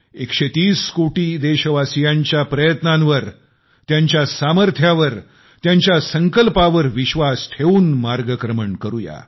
130 कोटी देशवासीयांच्या प्रयत्नांवर त्यांच्या सामर्थ्यावर त्यांच्या संकल्पावर विश्वास ठेवून मार्गक्रमण करूया